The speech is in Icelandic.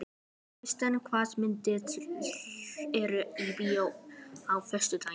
Kristmar, hvaða myndir eru í bíó á föstudaginn?